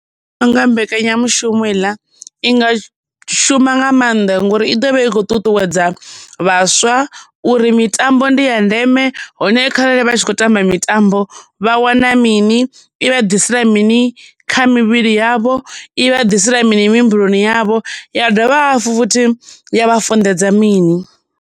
Ndi vhona unga mbekanyamushumo heiḽa i nga shuma nga maanḓa ngori i ḓovha i khou ṱuṱuwedza vhaswa uri mitambo ndi ya ndeme hone kharali vha tshi khou tamba mitambo vha wana mini i vha ḓisela mini kha mivhili yavho i vha ḓisela mini mihumbuloni yavho ya dovha hafhu futhi ya vha funḓedza mini.